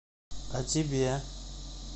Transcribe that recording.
а тебе